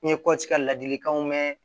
N ye kɔti ka ladilikanw mɛn